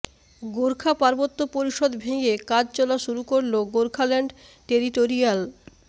গোর্খা পার্বত্য পরিষদ ভেঙে কাজ চলা শুরু করল গোর্খাল্যান্ড টেরিটোরিয়াল